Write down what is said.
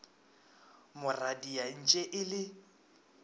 mo radia entše e le